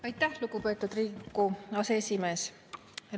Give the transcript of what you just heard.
Aitäh, lugupeetud Riigikogu aseesimees!